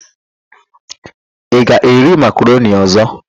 Ị ga-eri makaroni ọ̀zọ́?